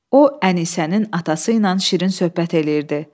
O Ənisənin atası ilə şirin söhbət eləyirdi.